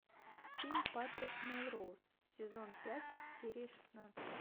фильм патрик мелроуз сезон пять серия шестнадцать